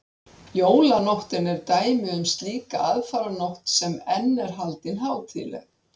Jólanóttin er dæmi um slíka aðfaranótt sem enn er haldin hátíðleg.